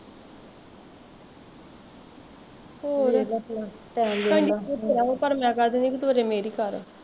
ਪਰ ਮੈਂ ਕਹਿ ਦਿੰਦੀ ਤੂੰ ਅਜੇ ਮੇਰੀ ਕਰ ਆ